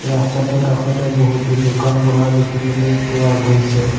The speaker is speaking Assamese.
ৰাস্তাটোৰ কাষতে বহুতো দোকান পোহাৰ দেখিবলৈ পোৱা গৈছে।